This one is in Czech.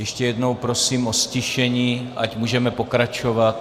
Ještě jednou prosím o ztišení, ať můžeme pokračovat.